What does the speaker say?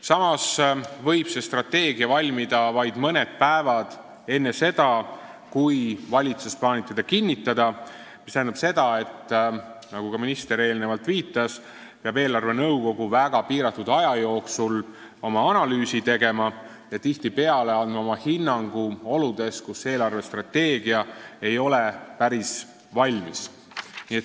Samas võib see strateegia valmida vaid mõni päev enne seda, kui valitsus plaanib selle kinnitada, mis tähendab, nagu ka minister eelnevalt viitas, et eelarvenõukogu peab väga piiratud aja jooksul oma analüüsi tegema ja tihtipeale andma oma hinnangu oludes, kus eelarvestrateegia ei ole päris valmis.